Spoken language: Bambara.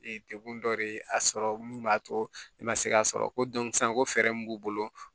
Ee dekun dɔ de ye a sɔrɔ min b'a to i ma se k'a sɔrɔ ko sisan ko fɛɛrɛ min b'u bolo